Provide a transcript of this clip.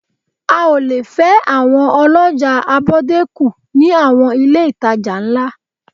A ò le fẹ́ àwọn ọlọ́jà abọ́dé kù ní àwọn ilé-ìtajà ńlá